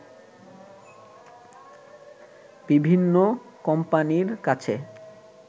বিভিন্ন কোম্পানির কাছে